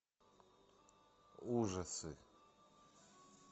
ужасы